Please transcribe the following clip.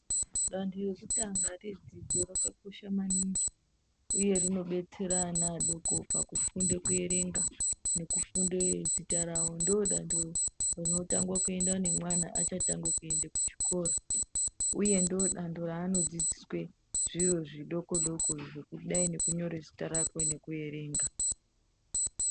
Danho rekutanga redzidzo rakakosha maningi uye rinodetsera ana adoko pakufunda kuerenga nekufunda zita rawo ndiro danho rinotangwa kuendwa nemwana achatanga kuenda kuchikora uye ndiro danho raanodzidziswa zviro zvidoko doko zvakadai nekunyora zita rakwe nekuerenga.